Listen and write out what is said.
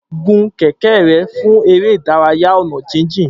Gùn kẹ̀kẹ́ rẹ fún eré ìdárayá ọ̀nà jíjìn.